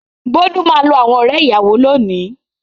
Bólú máa lo àwọn ọ̀rẹ́-ìyàwó lónìí.